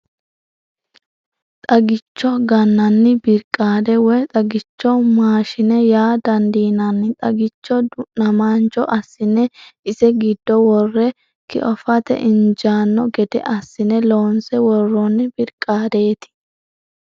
Xagicho gannanni birqaade woyi xagichu maashine yaa dandiinanni xagicho du'namaancho assine ise giddo worre kiofate injaanno gede assine loonse worroonni birqaadeeti.